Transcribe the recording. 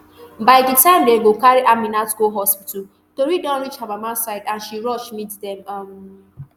by di time dem go carry aminat go hospital tori don reach her mama side and she rush meet dem um